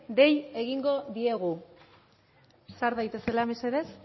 dei egingo diegu sar daitezela mesedez